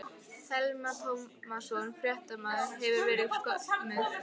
Telma Tómasson, fréttamaður: Hefurðu verið skömmuð?